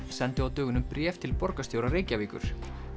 sendu á dögunum bréf til borgarstjóra Reykjavíkur